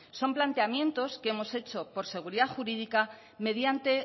son planteamientos que hemos hecho por seguridad jurídica mediante